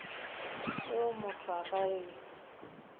yeo motho a ka e